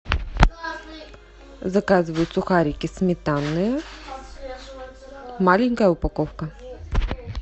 заказывай сухарики сметанные маленькая упаковка